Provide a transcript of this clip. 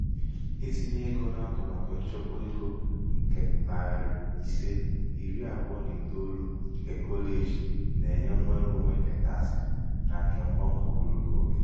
itinye ego n'atụmatụ nchekwa ego nke nari ise iri abụọ na itoolu nke kọleji na-enye nnwereonwe nke takịsị na nke mbawanye ogologo oge.